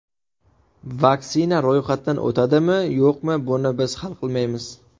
Vaksina ro‘yxatdan o‘tadimi, yo‘qmi, buni biz hal qilmaymiz.